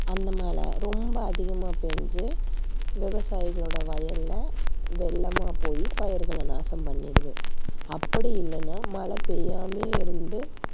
அந்த மழை ரொம்ப அதிகமா பெய்ஞ்சு விவசாயிகளோட வயல்ல வெள்ளமா போய்ப் பயிர்களை நாசம் பண்ணிடுது. அப்படி இல்லன்னா மழை பெய்யாமலே இருந்து